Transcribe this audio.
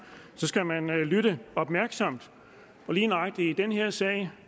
skal man lytte opmærksomt og lige nøjagtig i den her sag